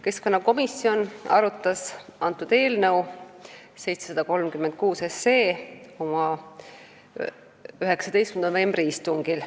Keskkonnakomisjon arutas eelnõu 736 oma 19. novembri istungil.